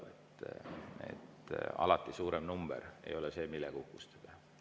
Alati ei ole suurem number see, millega uhkustada.